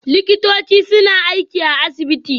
Likitoci suna aiki a asibiti